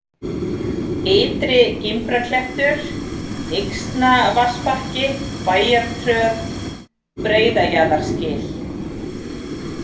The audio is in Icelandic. Ytri-Gimbraklettur, Yxnavatnsbakki, Bæjartröð, Breiðajaðarsgil